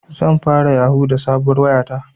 Zan fara yahu da sabuwar waya ta